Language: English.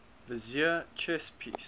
vizier chess piece